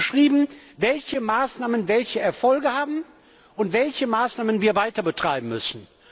Er hat beschrieben, welche Maßnahmen welche Erfolge haben und welche Maßnahmen wir weiter betreiben müssen.